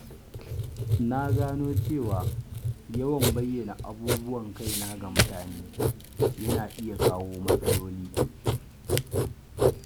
Na gano cewa yawan bayyana abubuwan kaina ga mutane yana iya kawo matsaloli.